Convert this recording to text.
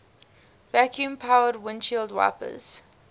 vacuum powered windshield wipers